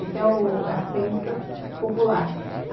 Essa é a crença popular.